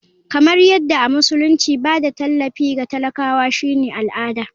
Kamar yadda a musulunci ba da tallafi ga talakawa shine al'ada.